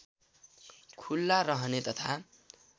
खुला रहने तथा